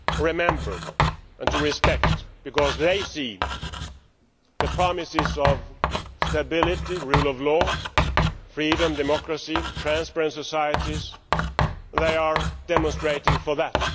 remember and to respect, because they see the promises of stability, rule of law, freedom, democracy and transparent societies they are demonstrating for that.